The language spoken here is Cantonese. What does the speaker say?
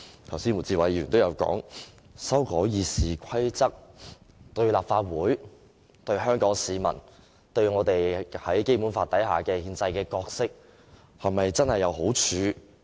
剛才胡志偉議員也說到，修改《議事規則》對立法會、對香港市民、對我們在《基本法》之下的憲制角色是否真正有好處？